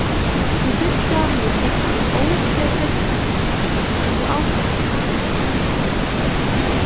Ég hristi af mér þessa ógeðfelldu sýn og ákveð að grafa stríðsöxina.